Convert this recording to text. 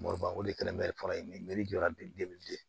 Mɔbiliba o de kɛlen bɛ faga yen jɔra